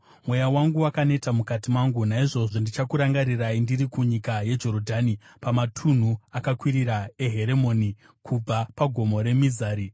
Mweya wangu wakaneta mukati mangu; naizvozvo ndichakurangarirai ndiri kunyika yeJorodhani, pamatunhu akakwirira eHeremoni, kubva paGomo reMizari.